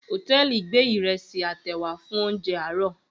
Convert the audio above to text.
Hòtẹ́ẹ̀lì gbé ìrẹsì àtèwà fún oúnjẹ àárọ̀.